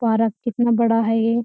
फुव्वारा कितना बड़ा है ये।